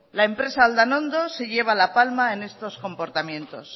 la empresa aldanondo se lleva la palma en estos comportamientos